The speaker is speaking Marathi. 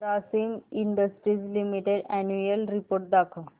Grasim industries limited annual report दाखव